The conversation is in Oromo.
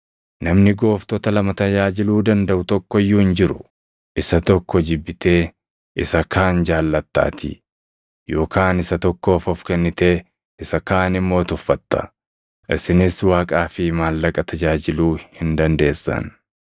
“Namni gooftota lama tajaajiluu dandaʼu tokko iyyuu hin jiru. Isa tokko jibbitee isa kaan jaallattaatii; yookaan isa tokkoof of kennitee isa kaan immoo tuffatta. Isinis Waaqaa fi maallaqa tajaajiluu hin dandeessan.”